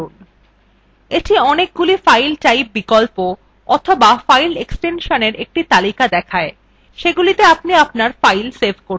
এটি অনেকগুলি file type বিকল্প অথবা file এক্সটেনশন একটি তালিকা দেখায় যেগুলিতে আপনি আপনার file save করতে পারেন